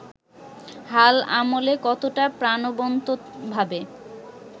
হাল আমলে কতটা প্রাণবন্তভাবে